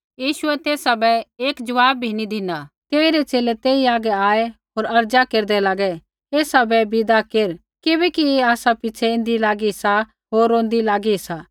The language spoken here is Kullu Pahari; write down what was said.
यीशुऐ तेसा बै एक जवाब बी नी बोलू तेइरै च़ेले तेई हागै आऐ होर अर्ज़ा केरदै लागै एसा बै विदा केर किबैकि ऐ आसा पिछ़ै ऐन्दी लागी सा होर रोंदी लागी सा